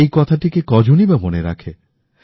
এই কথাটিকে হয়তো বা কেউ মনে রাখে